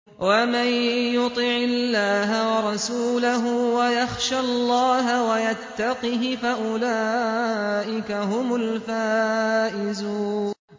وَمَن يُطِعِ اللَّهَ وَرَسُولَهُ وَيَخْشَ اللَّهَ وَيَتَّقْهِ فَأُولَٰئِكَ هُمُ الْفَائِزُونَ